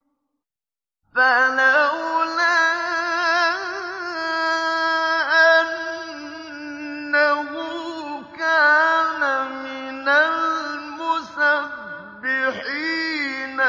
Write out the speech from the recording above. فَلَوْلَا أَنَّهُ كَانَ مِنَ الْمُسَبِّحِينَ